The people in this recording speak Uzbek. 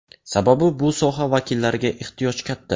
Sababi bu soha vakillariga ehtiyoj katta.